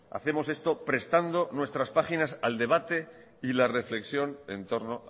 hacemos esto prestando nuestras páginas al debate y la reflexión en torno